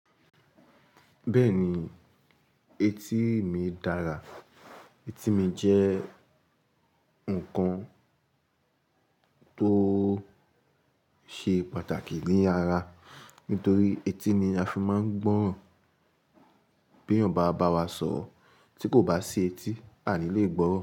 Bẹ́ẹ̀ni, etí mi dára. Etí mi jẹ́ nǹkan tó ṣe pàtàkì ní ara. Nítorí etí ni a fi máa ń gbọ́ràn bí ènìyàn bá bá wa sọ̀rọ̀. Tí kò bá sí etí, a ni lè gbọ́ràn.